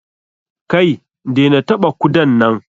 Kai! dena taɓa kudan nan!